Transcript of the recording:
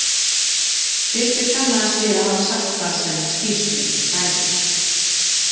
Tryggvi kannaðist við að hafa sagt það sem í skýrslunni stæði.